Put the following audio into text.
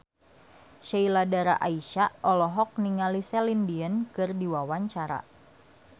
Sheila Dara Aisha olohok ningali Celine Dion keur diwawancara